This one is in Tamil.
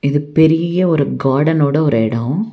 இது பெரிய ஒரு கார்டனோட ஒரு எடோ.